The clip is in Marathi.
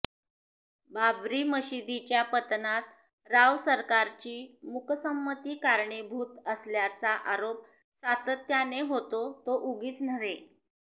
बाबरी मशिदीच्या पतनात राव सरकारची मुकसंमती कारणीभुत असल्याचा आरोप सातत्याने होतो तो उगीच नव्हे